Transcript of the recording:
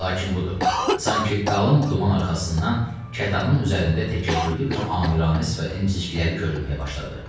Lakin budur, sanki qalın duman arxasından kətanın üzərində təkəbbürlü bir amiranə sifətin cizgiləri görünməyə başladı.